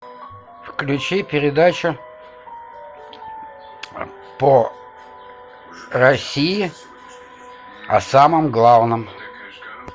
включи передачу по россии о самом главном